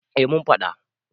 eh mun faɗa